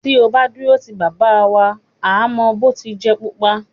Tí o bá dúró ti bàbá, wà á mọ “ bòtujẹ̀ pupa”.